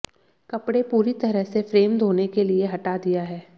कपड़े पूरी तरह से फ्रेम धोने के लिए से हटा दिया है